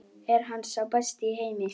Er hann sá besti í heimi?